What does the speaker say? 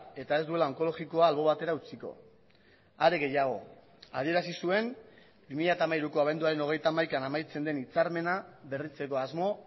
eta ez duela onkologikoa albo batera utziko are gehiago adierazi zuen bi mila hamairuko abenduaren hogeita hamaikan amaitzen den hitzarmena berritzeko asmo